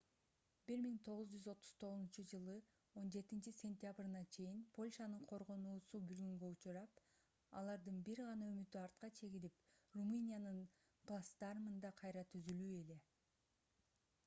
1939-жылы 17-сентябрына чейин польшанын коргоонуусу бүлгүнгө учурап алардын бир гана үмүтү артка чегинип румыниянын плацдармында кайра түзүлүү эле